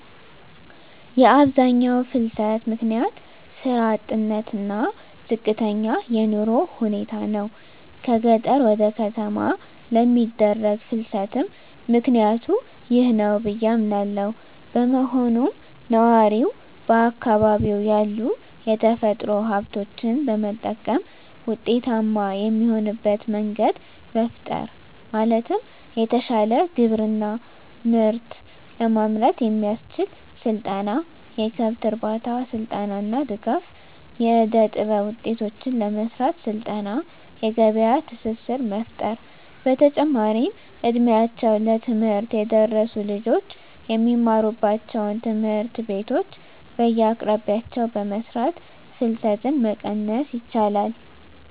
የአብዛኛው ፍልሰት ምክንያት ስራ አጥነት እና ዝቅተኛ የኑሮ ሁኔታ ናቸው። ከገጠር ወደ ከተማ ለሚደረግ ፍልስትም ምክኒያቱ ይህ ነው ብዬ አምናለው። በመሆኑም ነዋሪው በአካባቢው ያሉ የተፈጥሮ ሀብቶችን በመጠቀም ውጤታማ የሚሆንበት መንገድ መፍጠር ማለትም የተሻለ ግብርና ምርት ለማምረት የሚያስችል ስልጠና፣ የከብት እርባታ ስልጠና እና ድጋፍ. ፣ የእደጥበብ ውጤቶችን ለመሰራት ስልጠና የገበያ ትስስር መፍጠር። በተጨማሪም እ ድሜያቸው ለትምህርት የደረሱ ልጆች የሚማሩባቸውን ትምህርት ቤቶች በየአቅራቢያቸው በመስራት ፍልሰትን መቀነስ ይቻላል።